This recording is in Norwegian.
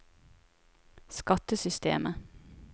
skattesystemet